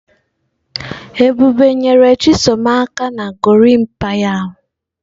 Ebube nyere chisom aka na gorimapa ya.